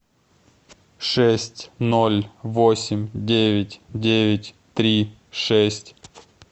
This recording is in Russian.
шесть ноль восемь девять девять три шесть